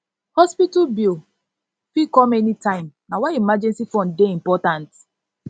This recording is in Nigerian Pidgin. hospital bill fit come fit come anytime na why emergency fund dey important